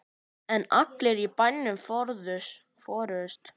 En allir í bænum fórust.